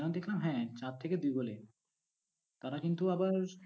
যেন দেখলাম, হ্যাঁ চার থেকে দুই গোলে, তারা কিন্তু আবার